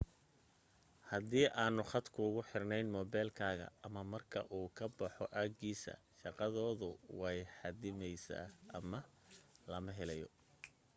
hadii aanu khad kuugu xirnayn moobilkaaga ama marka uu ka baxo aagiisa shaqadoodu way xaddidmaysaa ama lamaba helayo